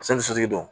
sotigi don